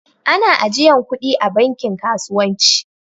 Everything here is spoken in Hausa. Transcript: Ana ajiyan kuɗi a banki kasuwanci